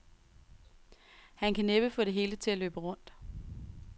Han kan næppe få det hele til at løbe rundt.